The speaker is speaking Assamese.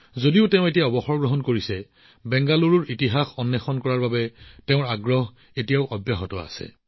যদিও তেওঁ এতিয়া অৱসৰ গ্ৰহণ কৰিছে তথাপিও তেওঁৰ বেংগালুৰুৰ ইতিহাস অন্বেষণ কৰাৰ আবেগ জীয়াই আছে